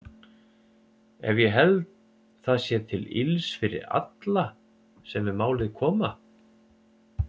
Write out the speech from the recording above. Ef ég held það sé til ills fyrir alla sem við málið koma?